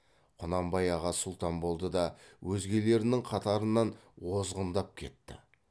құнанбай аға сұлтан болды да өзгелерінің қатарынан озғындап кетті